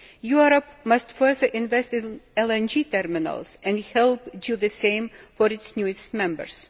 Europe must further invest in LNG terminals and help do the same for its newest members.